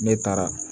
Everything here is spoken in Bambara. Ne taara